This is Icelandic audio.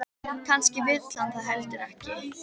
Kannski vill hann það heldur ekki.